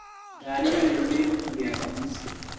Ndariganĩrũo nĩ ibuku rĩakwa mũciĩ.